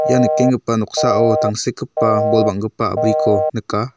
ia nikenggipa noksao tangsekgipa bol bang·gipa a·briko nika.